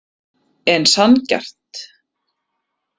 En sanngjarnt?